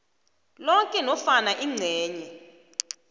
loke nofana ingcenye